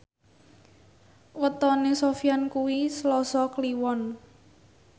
wetone Sofyan kuwi Selasa Kliwon